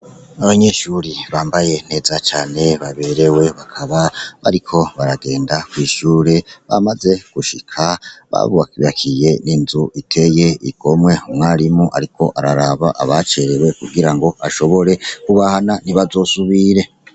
Abanyeshuri bambaye neza cane baberewe bakaba bariko baragenda kwishure bamaze gushika babukiye n'inzu iteye igomwe, umwarimu ariko araraba abacerewe kugira ngo ashobore kubahana ntibazosubire.